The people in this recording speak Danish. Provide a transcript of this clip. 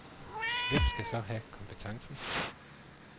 Hvem skal så have kompetencen?